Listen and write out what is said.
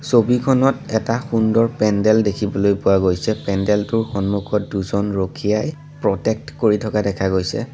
ছবিখনত এটা সুন্দৰ পেণ্ডেল দেখিবলৈ পোৱা গৈছে পেণ্ডেলটোৰ সন্মুখত দুজন ৰখীয়াই প্ৰটেক্ট কৰি থকা দেখা গৈছে।